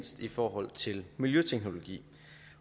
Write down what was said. i forhold til miljøteknologi